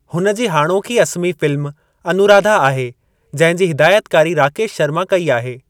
हुन जी हाणोकी असमी फ़िल्म अनुराधा आहे जंहिं जी हिदायतकारी राकेश शर्मा कई आहे।